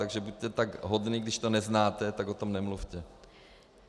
Takže buďte tak hodný, když to neznáte, tak o tom nemluvte.